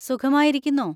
സുഖമായിരിക്കുന്നോ?